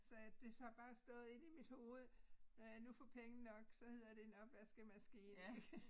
Så det har bare stået inde i mit hoved når jeg nu får penge nok så hedder det en opvaskemaskine ik